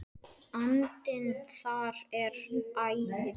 Vandinn þar er ærinn.